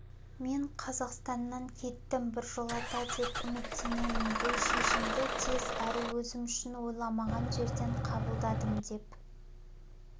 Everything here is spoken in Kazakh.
мен қазақстаннан кеттім біржолата деп үміттенемін бұл шешімді тез әрі өзім үшін ойламаған жерден қабылдадым деп